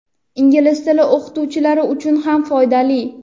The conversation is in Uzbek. ingliz tili o‘qituvchilari uchun ham foydali.